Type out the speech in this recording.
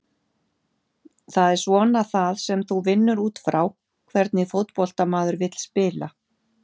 Það er svona það sem þú vinnur útfrá, hvernig fótbolta maður vill spila?